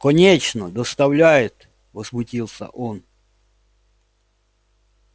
конечно доставляет возмутился он